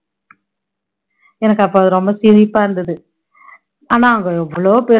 எனக்கு அப்போ அது ரொம்ப சிரிப்பா இருந்துது ஆனா அங்க எவ்ளோ பேரு